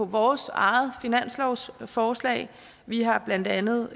vores eget finanslovsforslag vi har blandt andet